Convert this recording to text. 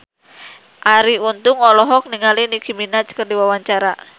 Arie Untung olohok ningali Nicky Minaj keur diwawancara